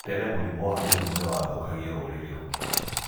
Tene mũrimũ wa mũrimũ nĩ wathũkagia rũrĩrĩ rũngi'ma.